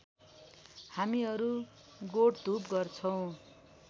हामीहरू गोठधूप गर्छौं